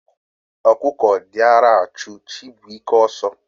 Okuko diara achu Chibuike oso